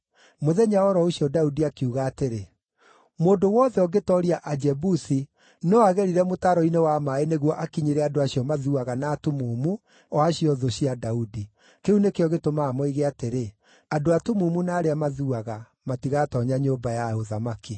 Mũthenya o ro ũcio Daudi akiuga atĩrĩ, “Mũndũ wothe ũngĩtooria Ajebusi no agerire mũtaro-inĩ wa maaĩ nĩguo akinyĩre andũ acio ‘mathuaga na atumumu’ o acio thũ cia Daudi.” Kĩu nĩkĩo gĩtũmaga moige atĩrĩ, “ ‘Andũ atumumu na arĩa mathuaga’ matigatoonya nyũmba ya ũthamaki.”